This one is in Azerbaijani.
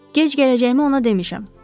Gec gələcəyimi ona demişəm.